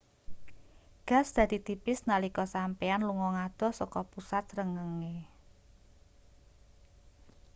gas dadi tipis nalika sampeyan lunga ngadoh saka pusat srengenge